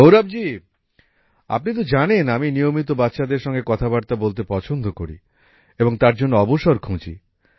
গৌরব জি আপনি তো জানেন আমি নিয়মিত বাচ্চাদের সঙ্গে কথাবার্তা বলতে পছন্দ করি এবং তার জন্য অবসর খুঁজি